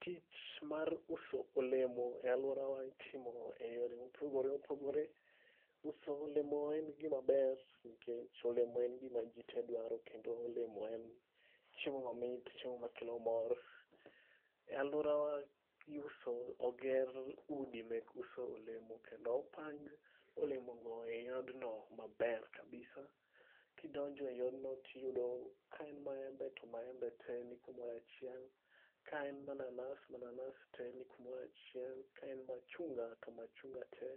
Tich mar uso olemo e alworawa itimo e yore mopogore opogore. Uso olemo en gino maber nikech olemo en gima ji te dwaro kendo olemo en chiemo mamit, chiemo makelo mor. E alworawa oger udi mek uso olemo kendo opang olemogo e odno maber kabisa. Kidonjo e odno, tiyudo ka en maembe to maembe te nikumoro achiel, ka en mananas, mananas te ni kumoro achiel, ka en machunga to machunga te